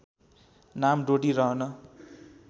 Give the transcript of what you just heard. नाम डोटी रहन